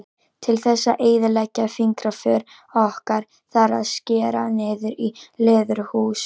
Til þess að eyðileggja fingraför okkar þarf að skera niður í leðurhúð.